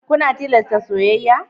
Kuna tilasta soyayya?